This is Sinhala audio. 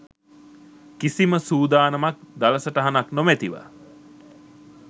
කිසිම සූදානමක් දළ සටහනක් නොමැතිව